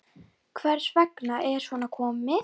Hvers vegna er svona komið?